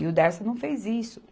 E o Dersa não fez isso.